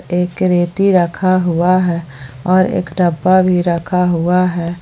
एक रेती रखा हुआ है और एक डब्बा भी रखा हुआ है।